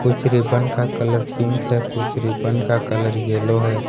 कुछ रिबन का colour pink है कुछ रिबन का कलर येलो है।